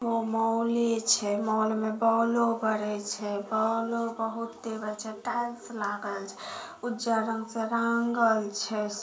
Mall छे mall में ball बराल छे बॉल बहुत छे टाइल्स लागल छे उजलर रंग से रंगल छे।